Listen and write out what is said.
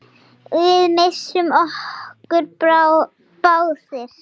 Við misstum okkur báðir.